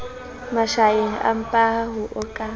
mashaeng empaha ho a ka